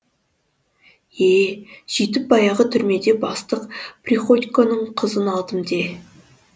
е сөйтіп баяғы түрмеде бастық приходьконың қызын алдым де